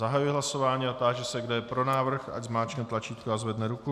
Zahajuji hlasování a táži se, kdo je pro návrh, ať zmáčkne tlačítko a zvedne ruku.